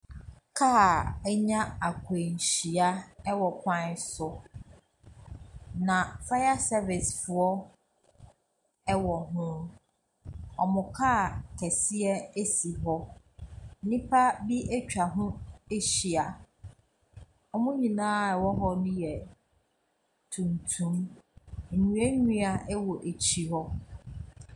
Kaa anya akwanhyia ɛwɔ kwan so na faya sɛvis foɔ ɛwɔ hoo, ɔmo kaa kɛseɛ ɛsi hɔ nnipa bi atwa ho ahyia. Wɔmo nyinaa ɛwɔ hɔ bi yɛ tuntum, nnua nnua wɔ akyi hɔ.